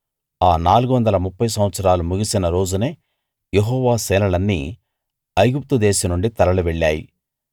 ఆ 430 సంవత్సరాలు ముగిసిన రోజునే యెహోవా సేనలన్నీ ఐగుప్తు దేశం నుండి తరలి వెళ్లాయి